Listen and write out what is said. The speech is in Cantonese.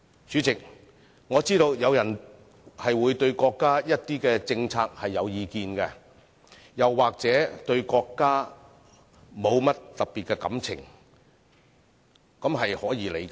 主席，我知道有人會對國家的一些政策有意見，又或對國家沒有特別的感情，這是可以理解的。